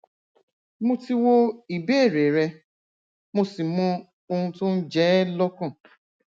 mo ti wo ìbéèrè rẹ mo sì mọ ohun tó ń jẹ ẹ lọkàn